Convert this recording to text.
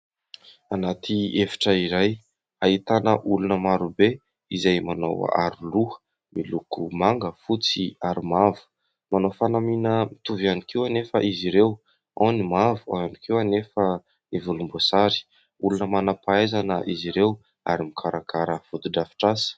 Anaty efitra iray ahitana olona marobe izay manao aro-loha miloko manga, fotsy ary mavo; manao fanamiana mitovy ihany koa anefa izy ireo ao ny mavo, ao ihany koa anefa ny volomboasary. Olona manam-pahaizana izy ireo ary mikarakara foto-drafitrasa.